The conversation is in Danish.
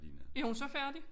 Er hun så færdig?